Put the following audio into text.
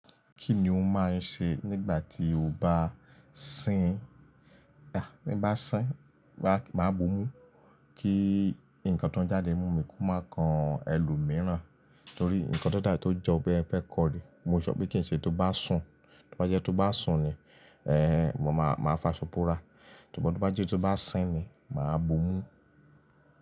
Kí ni o máa ń ṣe nígbà tí o bá sín? Nígbà tí bá sín, màá bù ú, kí nǹkan tó ń jáde mú mi kó máa kan ẹlòmíràn. Nítorí nǹkan tó dáa tí ó jọ bí ẹ fẹ́ kọ rẹ̀. Mo ṣọ pé kí n ṣe tó bá sùn, tó bá jẹ́ tó bá sùn ni, eh, mo máa, máa fa ṣọ borà. Sùgbón tó bá jẹ́ tó bá sín ni, màá bù ú.